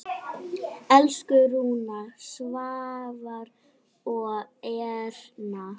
Elsku Rúna, Svavar og Erna.